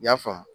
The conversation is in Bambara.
I y'a faamu